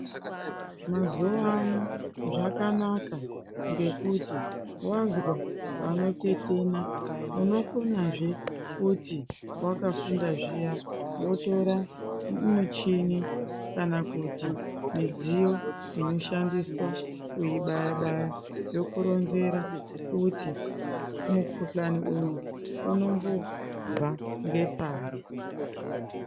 Mazuwa ano zvakanaka ngekuti wazwa panotetena unokonazve kuti wakafundazviya wotora muchini kana kuti midziyo inoshandiswa kuyibayabaya yokuronzera kuti mukhuhlani uyu unombobva ngepari.